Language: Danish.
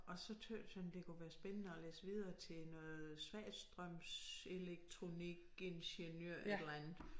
Og så tøs han det kunne være spændende at læse videre til noget svagstrømselektronikingeniør et eller andet